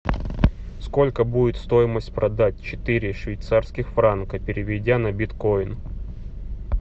сколько будет стоимость продать четыре швейцарских франка переведя на биткоин